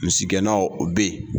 Misiiggɛnna o bɛ yen